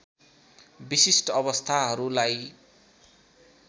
विशिष्ट अवस्थाहरूलाई